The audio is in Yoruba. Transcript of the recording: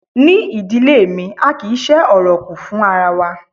Ní ìdílé mi, a kì í ṣé ọ̀rọ̀ kù fún ara wa.